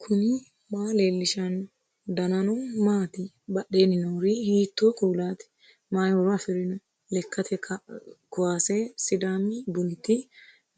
knuni maa leellishanno ? danano maati ? badheenni noori hiitto kuulaati ? mayi horo afirino ? lekkate kuwaase sidaami bununniti